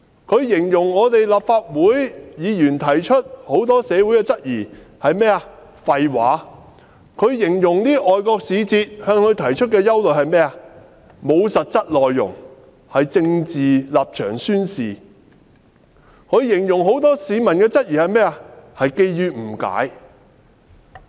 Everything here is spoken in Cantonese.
她形容立法會議員和社會提出的多項質疑是"廢話"；她形容外國使節向她提出的憂慮"沒有實質內容"，是政治立場宣示；她形容很多市民的質疑是基於誤解。